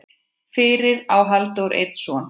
Fyrir á Halldór einn son.